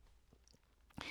DR K